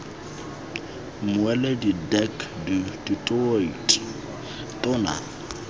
mmueledi dirk du toit tona